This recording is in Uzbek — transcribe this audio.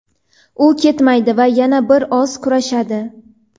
u ketmaydi va yana bir oz kurashadi.